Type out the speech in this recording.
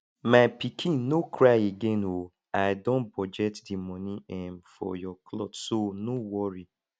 my pikin no cry again oo i don budget the money um for your cloth so no worry